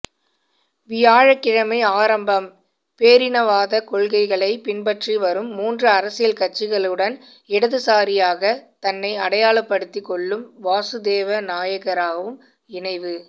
வியாழக்கிழமை ஆரம்பம்பேரினவாத கொள்கைகளைப் பின்பற்றி வரும் மூன்று அரசியல் கட்சிகளுடன்இடதுசாரியாக தன்னை அடையாளப்படுத்திக் கொள்ளும் வாசுதேவ நாணயக்காரவும் இணைவு